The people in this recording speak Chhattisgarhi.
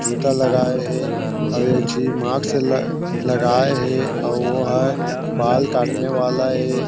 जूता लगाए हे आऊ एक ठी मास्क ल लगाए हे आऊ वो ह बाल काटने वाला ए--